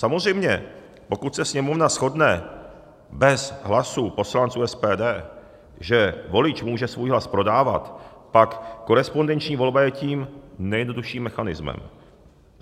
Samozřejmě pokud se Sněmovna shodne bez hlasů poslanců SPD, že volič může svůj hlas prodávat, pak korespondenční volba je tím nejjednodušším mechanismem.